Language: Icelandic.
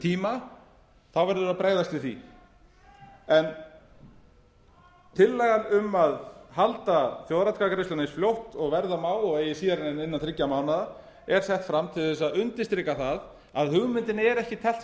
tíma þá verður að bregðast við því en tillagan um að halda þjóðaratkvæðagreiðslunni eins fljótt og verða má og eigi síðar en innan þriggja mánaða er sett fram til að undirstrika það að hugmyndinni er ekki teflt